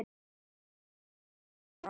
Var hana að dreyma?